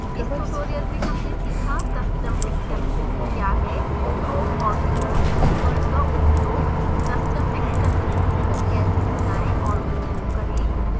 इस tutorial में हमने सीखा : custom exception क्या है throw और throws keywords का उपयोग custom exceptions को कैसे बनाएँ और उपयोग करें